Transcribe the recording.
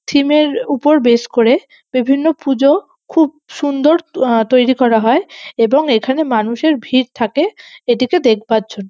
theme - এর উপর base করে বিভিন্ন পুজো খুব সুন্দর আ তৈরি করা হয় এবং এখানে মানুষের ভিড় থাকে এটিকে দেখবার জন্--